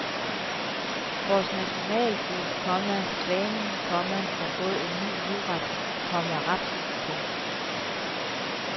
Vores nationalfugl, komma svanen, komma har fået en ny livret, komma raps. punktum